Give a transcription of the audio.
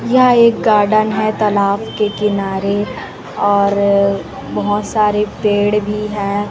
यह एक गार्डन है तालाब के किनारे और बहुत सारे पेड़ भी हैं।